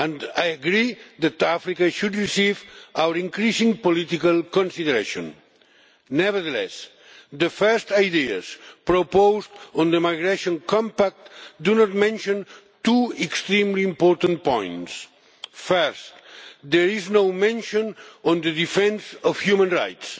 I agree that Africa should receive our increasing political consideration. Nevertheless, the first ideas proposed on the migration compact do not mention two extremely important points firstly, there is no mention of the defence of human rights.